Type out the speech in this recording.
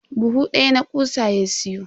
Buhu daya na kutsa ya siyo.